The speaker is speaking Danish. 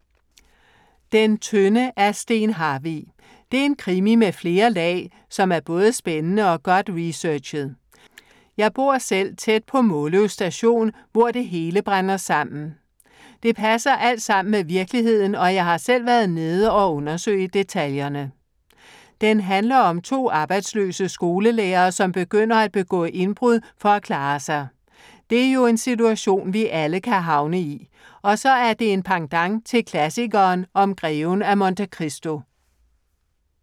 Den tynde af Steen Harvig. Det er en krimi med flere lag, som er både spændende og godt researchet. Jeg bor selv tæt på Måløv station, hvor det hele brænder sammen. Det passer alt sammen med virkeligheden og jeg har selv været nede og undersøge detaljerne. Den handler om to arbejdsløse skolelærere, som begynder at begå indbrud for at klare sig. Det er jo en situation, vi alle kan havne i. Og så er det en pendant til klassikeren om Greven af Monte Christo.